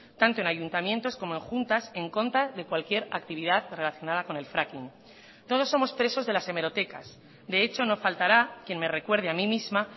tanto en ayuntamientos como en juntas en contra de cualquier actividad relacionada con el fracking todos somos presos de las hemerotecas de hecho no faltará quien me recuerde a mí misma